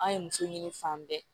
An ye muso ɲini fan bɛɛ